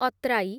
ଅତ୍ରାଇ